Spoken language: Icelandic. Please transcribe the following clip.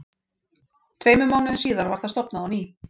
Tveimur mánuðum síðar var það stofnað á ný.